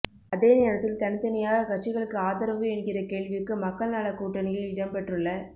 அதே நேரத்தில் தனித்தனியாக கட்சிகளுக்கு ஆதரவு என்கிற கேள்விக்கு மக்கள் நலக் கூட்டணியில் இடம்பெற்றுள்ள